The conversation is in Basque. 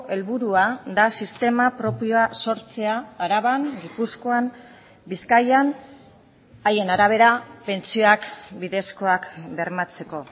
helburua da sistema propioa sortzea araban gipuzkoan bizkaian haien arabera pentsioak bidezkoak bermatzeko